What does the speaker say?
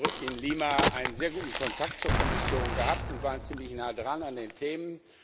Wir haben in Lima einen sehr guten Kontakt zur Kommission gehabt und waren ziemlich nah dran an den Themen.